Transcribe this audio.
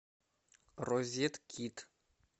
розеткид